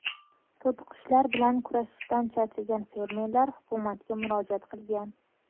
To‘tiqushlar bilan kurashishdan charchagan fermerlar hukumatga murojaat qilgan.